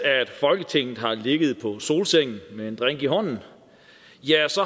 folketinget har ligget på solsengen med en drink i hånden